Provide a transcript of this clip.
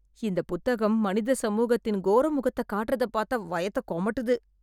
இந்த புத்தகம் மனிதச்சமூகத்தின் கோர மொகத்த காட்ற பாத்தா வயத்த கொமட்டுது